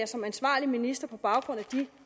som ansvarlig minister på baggrund af de